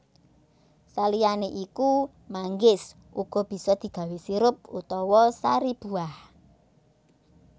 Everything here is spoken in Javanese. Saliyané iku manggis uga bisa digawé sirup utawa sari buah